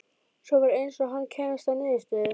Svo var eins og hann kæmist að niðurstöðu.